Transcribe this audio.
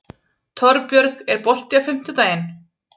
Torbjörg, er bolti á fimmtudaginn?